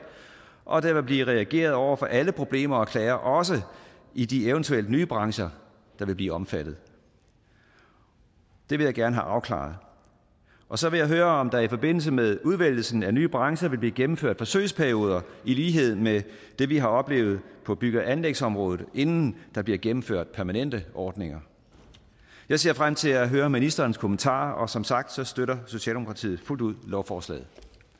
og at der vil blive reageret over for alle problemer og klager også i de eventuelle nye brancher der vil blive omfattet det vil jeg gerne have afklaret og så vil jeg høre om der i forbindelse med udvælgelsen af nye brancher vil blive gennemført forsøgsperioder i lighed med det vi har oplevet på bygge og anlægsområdet inden der bliver gennemført permanente ordninger jeg ser frem til at høre ministerens kommentarer og som sagt støtter socialdemokratiet fuldt ud lovforslaget